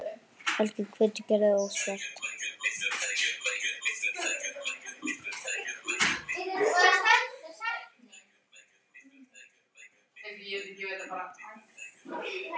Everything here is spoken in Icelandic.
Helgi hvetur Gerði óspart.